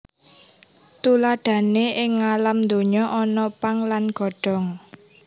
Tuladhané ing ngalam donya ana pang lan godhong